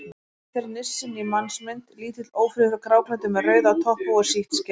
Oftast er nissinn í mannsmynd: Lítill, ófríður, gráklæddur með rauða topphúfu og sítt skegg.